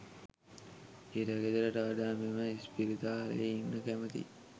හිරගෙදරට වඩා මම ඉස්පිරිතාලයේ ඉන්න කැමතියි